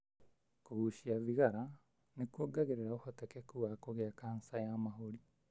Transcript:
Kũgucia thigara nĩ kuongagĩrĩra ũhotekeku wa kũgĩa kanja ya mahũri.